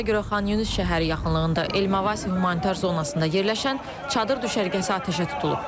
Məlumatlara görə Xanyunis şəhəri yaxınlığında Elmavasi humanitar zonasında yerləşən çadır düşərgəsi atəşə tutulub.